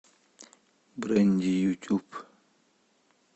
брэнди ютюб